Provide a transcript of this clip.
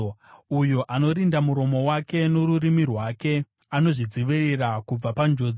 Uyo anorinda muromo wake norurimi rwake anozvidzivirira kubva panjodzi.